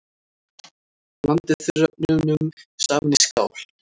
Blandið þurrefnunum saman í skál.